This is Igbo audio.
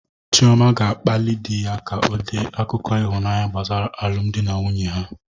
Chioma ga-akpali di ya ka o dee akụkọ ịhụnanya gbasara alụmdi na nwunye ha